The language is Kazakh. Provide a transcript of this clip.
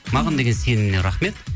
маған деген сеніміне рахмет